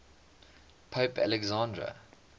pope alexander